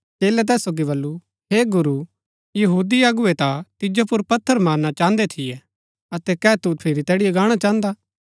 चेलै तैस सोगी बल्लू हे गुरू यहूदी अगुवै ता तिजो पुर पत्थर मारना चाहन्दै थियै अतै कै तू फिरी तैड़ीओ गाणा चाहन्दा